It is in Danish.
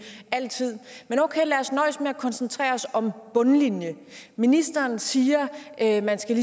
men okay lad os nøjes med at koncentrere os om bundlinjen ministeren siger at man skal